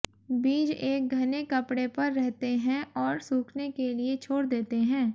बीज एक घने कपड़े पर रहते हैं और सूखने के लिए छोड़ देते हैं